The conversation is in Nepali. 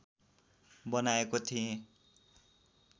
बनाएको थिएँ